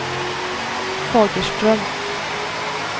Fagerström